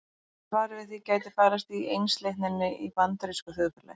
Svarið við því gæti falist í einsleitninni í bandarísku þjóðfélagi.